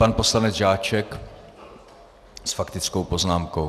Pan poslanec Žáček s faktickou poznámkou.